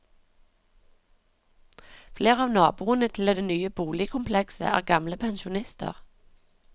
Flere av naboene til det nye boligkomplekset er gamle pensjonister.